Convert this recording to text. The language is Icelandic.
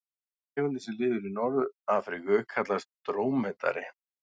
Tegundin sem lifir í Norður-Afríku kallast drómedari.